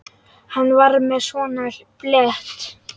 Hann var með svona blett.